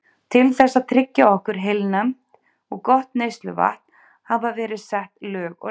Til þess að tryggja okkur heilnæmt og gott neysluvatn hafa verið sett lög og reglugerðir.